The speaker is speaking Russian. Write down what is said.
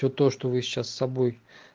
всё то что вы сейчас с собой